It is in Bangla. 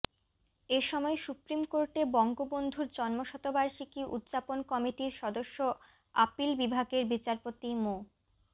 এ সময় সুপ্রিম কোর্টে বঙ্গবন্ধুর জন্মশতবার্ষিকী উদযাপন কমিটির সদস্য আপিল বিভাগের বিচারপতি মো